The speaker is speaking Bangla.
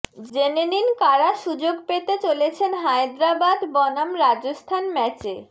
জেনে নিন কারা সুযোগ পেতে চলেছেন হায়দরাবাদ বনাম রাজস্থান ম্যাচে